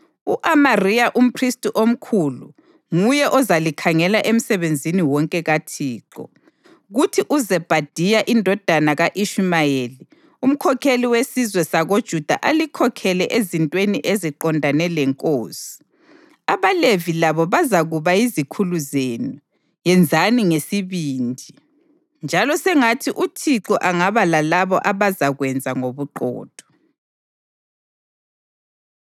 U-Amariya umphristi omkhulu nguye ozalikhangela emsebenzini wonke kaThixo, kuthi uZebhadiya indodana ka-Ishumayeli, umkhokheli wesizwe sakoJuda alikhokhele ezintweni eziqondane lenkosi, abaLevi labo bazakuba yizikhulu zenu. Yenzani ngesibindi, njalo sengathi uThixo angaba lalabo abazakwenza ngobuqotho.”